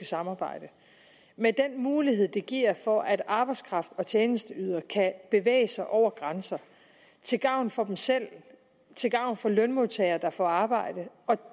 samarbejde med den mulighed det giver for at arbejdskraft og tjenesteydelser kan bevæge sig over grænserne til gavn for dem selv til gavn for lønmodtagere der får arbejde og